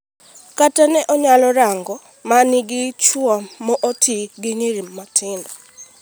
"Kata ne anyalo rango ma nigi chuo ma oti gi nyiri matindo.